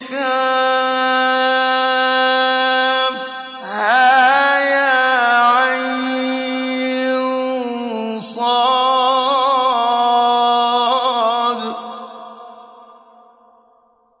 كهيعص